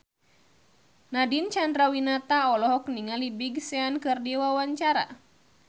Nadine Chandrawinata olohok ningali Big Sean keur diwawancara